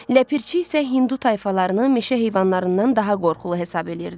Ləpirçi isə Hindu tayfalarını meşə heyvanlarından daha qorxulu hesab eləyirdi.